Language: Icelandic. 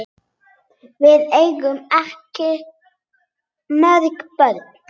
Við eigum ekki mörg börn.